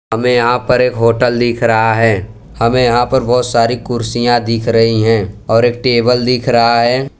हमे यहां पर एक होटल दिख रहा है हमे यहां पर बहोत सारी कुर्सियां दिख रही हैं और एक टेबल दिख रहा है।